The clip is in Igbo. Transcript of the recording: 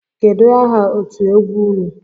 Kedụ aha otú egwu ụnụ?